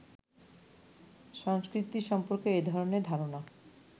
সংস্কৃতি সম্পর্কে এ-ধরনের ধারণা